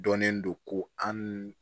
Dɔnnen don ko an nu